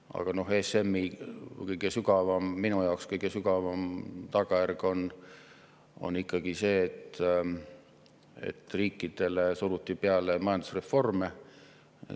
Aga ESM‑i minu jaoks kõige sügavam tagajärg on ikkagi see, et riikidele suruti peale majandusreforme.